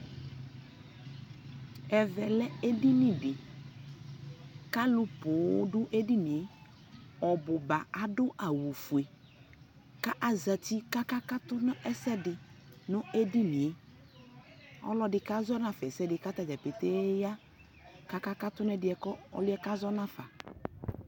ɛvɛ lɛ ɛdini di kʋ alʋ pɔɔm dʋ ɛdiniɛ, ɔbʋba adʋ awʋ ƒʋɛ kʋ azati kʋ aka katʋ nʋ ɛsɛdi nʋ ɛdiniɛ, ɔlɔdi kazɔ naƒa ɛsɛdi kʋ atagya pɛtɛɛ ya kʋ aka katʋ nʋ ɛdiɛ ɔlʋɛ kazɔ nʋaƒa